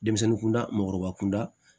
Denmisɛnnin kunda mɔgɔkɔrɔba kunda